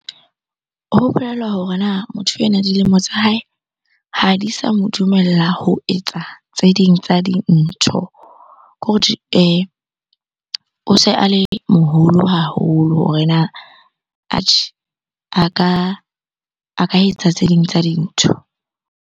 Ho bolela hore na motho enwa dilemo tsa hae ha di sa mo dumella ho etsa tse ding tsa dintho. Hore o se a le moholo haholo hore na atjhe, a ka etsa tse ding tsa dintho.